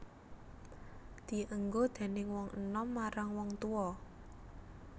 Dienggo déning wong enom marang wong tuwa